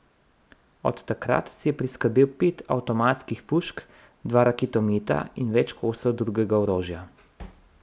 Od takrat si je priskrbel pet avtomatskih pušk, dva raketometa in več kosov drugega orožja.